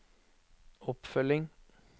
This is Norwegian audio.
oppfølging